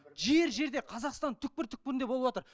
жер жерде қазақстанның түкпір түкпірінде болыватыр